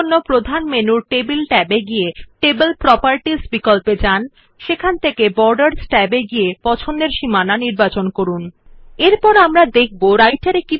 এরজন্য প্রধান মেনুর টেবল ট্যাব এবং টেবিল প্রোপার্টি বিকল্প মধ্যে ছক ট্যাব থেকে যথাযথ বিকল্পটি বেছে নিন সীমানাFor this select table tab in the main menu and table properties option borders tab to select appropriate option